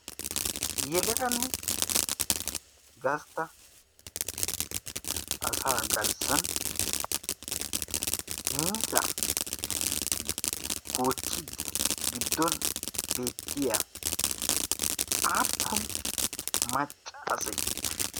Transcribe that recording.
yelaganne gastta asaa garssan miizza goochchiddi giddon beettiya aappun maccase?